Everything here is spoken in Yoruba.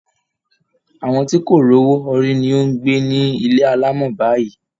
Àwọn tí kò rọ́wọ́ họrí ni ó ń gbé ní ilé alámọ̀ báyìí